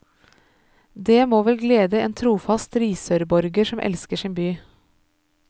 Det må vel glede en trofast risørborger som elsker sin by?